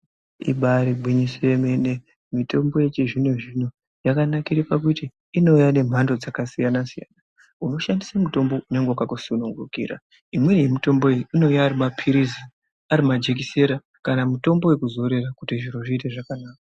Ibaarigwinyiso yemene, mitombo yechizvino zvino yakanakire pakuti inouya nemhando dzakasiyana-siyana unoshandisa mutombo nyangwe wakakusunungukira, imweni yemitombo iyi inouya ari maphilizi, arimajekiseni kana mitombo yekuzora kuti zviro zviite zvakanaka.